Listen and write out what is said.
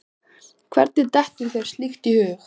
Hvernig dettur þér slíkt í hug?